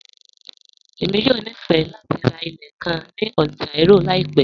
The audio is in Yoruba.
Èmi yọ̀ ní fẹ̀ lati rá ilẹ̀ kàn ní Ontario laípẹ̀